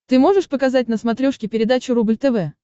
ты можешь показать на смотрешке передачу рубль тв